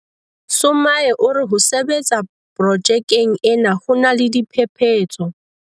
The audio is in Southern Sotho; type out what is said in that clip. Sumay o re ho sebetsa pro jekeng ena ho na le diphephetso.